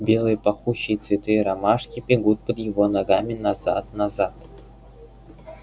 белые пахучие цветы ромашки бегут под его ногами назад назад